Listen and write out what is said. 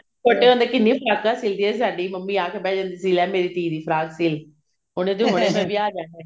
ਛੋਟੇ ਹੁੰਦੇ ਕਿੰਨੀਆਂ ਫਰਾਕਾਂ ਸਿਲਦੀ ਸੀ ਸਾਡੀ ਮੰਮੀ ਆ ਕੇ ਬਿਹ ਜਾਂਦੀ ਸੀ ਲੈ ਮੇਰੀ ਧੀ ਦੀ ਫ਼ਰਾਕ ਸਿਲਦੇ ਉਹਨੇ ਤੇ ਵਿਆਹ ਜਾਣਾ